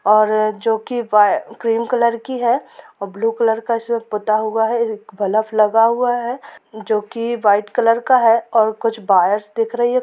और जो कि वाय ग्रीन कलर की हैं ब्लू कलर का इसमें पुता हुआ हैं और बल्ब लगा हुआ हैं जो की वाइट कलर का हैं और कुछ वायर्स दिख रही हैं।